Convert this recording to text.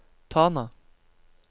Tana